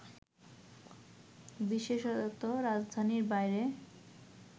বিশেষত, রাজধানীর বাইরে